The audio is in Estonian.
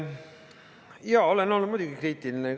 Jaa, olen olnud muidugi kriitiline.